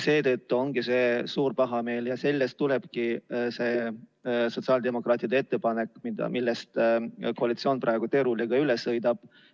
Seetõttu ongi see suur pahameel ja sellest tulebki see sotsiaaldemokraatide ettepanek, millest koalitsioon praegu teerulliga üle sõidab.